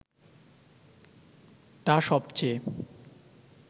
তা সবচেয়ে